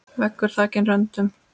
Veggur þakinn röndum.